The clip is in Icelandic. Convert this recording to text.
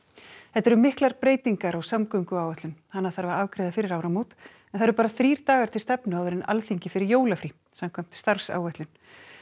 þetta eru miklar breytingar á samgönguáætlun hana þarf að afgreiða fyrir áramót en það eru bara þrír dagar til stefnu áður en Alþingi fer í jólafrí samkvæmt starfsáætlun